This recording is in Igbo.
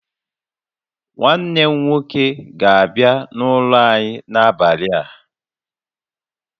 Nwanne m nwoke ga-abia n'ụlọ anyị n'abalị a